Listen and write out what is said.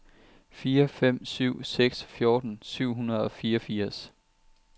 fire fem syv seks fjorten syv hundrede og fireogfirs